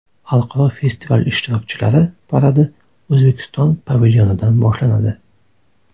Xalqaro festival ishtirokchilari paradi O‘zbekiston pavilyonidan boshlanadi.